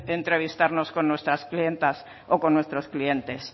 entrevistarnos con nuestras clientas o con nuestros clientes